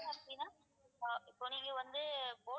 அப்பிடின்னா இப்ப நீங்க வந்து